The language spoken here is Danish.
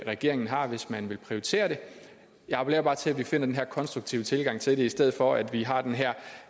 regeringen har hvis man vil prioritere det jeg appellerer bare til at vi finder den her konstruktive tilgang til det i stedet for at vi har den her